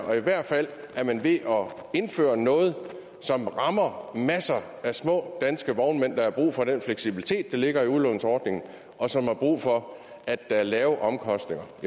og i hvert fald er man ved at indføre noget som rammer masser af små danske vognmænd der har brug for den fleksibilitet der ligger i udlånsordningen og som har brug for at der er lave omkostninger